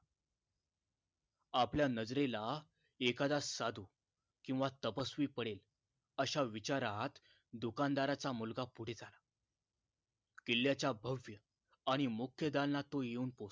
आपल्या नजरेला एखादा साधू किवा तपस्वी पडेल अश्या विचारात दुकान दाराचा मुलगा पुढे झाला किल्ल्याच्या भव्य आणि मुख्य दालना तो येऊन पोचला